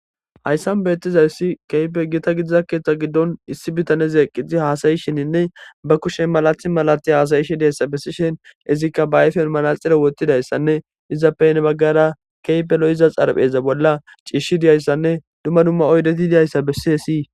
hayssan beettizayssi keehippe gita gidiza keeththa giddon issi bitanezeeqqizi haasayi shininne ba kushen malati malati haasayishi diyayssa bessi shin izikka ba ayfen malaxire wottidayssanne izappeyne baggara keypelo iza xarpheza bolla ciishshi diyayssanne duma dumma oydeti diyayssa bessiesi